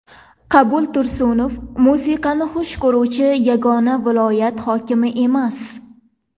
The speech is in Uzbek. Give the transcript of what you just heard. Qabul Tursunov musiqani xush ko‘ruvchi yagona viloyat hokimi emas.